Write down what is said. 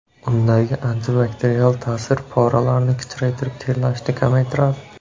Undagi antibakterial ta’sir poralarni kichraytirib terlashni kamaytiradi.